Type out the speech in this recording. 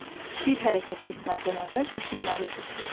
Bir hərəkəti etməzdən əvvəl düşünməlisiz.